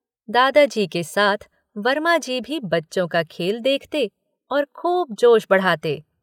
दादाजी के साथ वर्मा जी भी बच्चों का खेल देखते और खूब जोश बढ़ाते।